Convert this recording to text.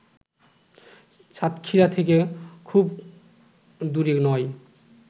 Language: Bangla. সাতক্ষীরা থেকে খুব দূরে নয়